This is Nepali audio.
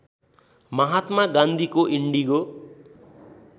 महात्मा गान्धीको इङ्डिगो